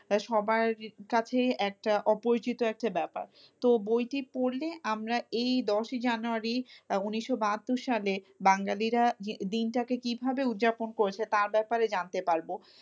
সবার কাছেই একটা অপরিচিত একটা ব্যাপার তো বইটি পড়লে আমরা এই দশই জানুয়ারি উনিশশো বাহাত্তর সালে বাঙালিরা দিনটাকে কিভাবে উদযাপন করেছে তার ব্যাপারে জানতে পারবো।